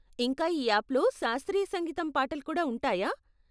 ఇంకా ఈ యాప్లలో శాస్త్రీయ సంగీతం పాటలు కూడా ఉంటాయా?